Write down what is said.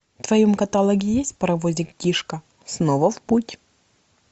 в твоем каталоге есть паровозик тишка снова в путь